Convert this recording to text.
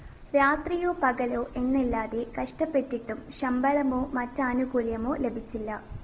രാത്രിയോ പകലോ എന്നില്ലാതെ കഷ്ടപ്പെട്ടിട്ടും ശമ്പളമോ മറ്റാനുകൂല്യമോ ലഭിച്ചില്ല